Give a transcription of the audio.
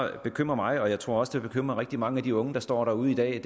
bekymrer mig og jeg tror også at det bekymrer rigtig mange af de unge der står derude i dag